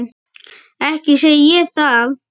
Ekki segi ég það.